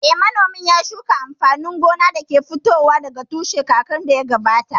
Eh, manomin ya shuka amfanin gona da ke fitowa daga tushe kakar da ta gabata